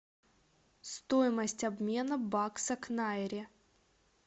стоимость обмена бакса к найре